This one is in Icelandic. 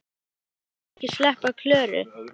Samt vill hann ekki sleppa Klöru.